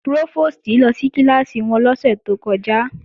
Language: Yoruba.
Prófòstì lọ sí kíláàsì wọn lọ́sẹ̀ tó kọjá